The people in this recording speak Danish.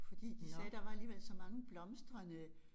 Fordi de sagde der var alligevel så mange blomstrende